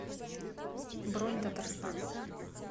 бронь татарстан